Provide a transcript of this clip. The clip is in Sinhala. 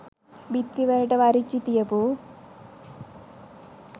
බිත්තිවලට වරිච්චි තියපු